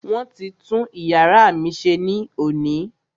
Wọ́n ti tún iyàrá mí ṣe ní òní.